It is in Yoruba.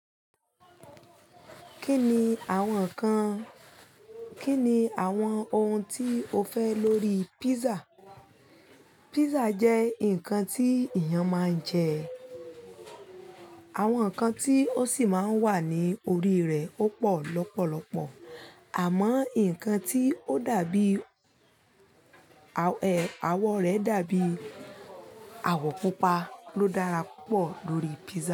Kí ni àwọn ǹkan, kí ni àwọn ohun tí o fẹ́ lórí pizza? Pizza jẹ́ ǹkan tí èèyàn máa ń jẹ, àwọn ǹkan tí ó sì máa ń wà ní orí rẹ̀ ó pọ̀ lọ́pọ̀lọpọ̀, àmọ́ ǹkan tí ó dàbí aw, ẹ, àwọ̀ rẹ̀ dàbí àwọ̀ pupa ló dára púpọ̀ lórí pizza.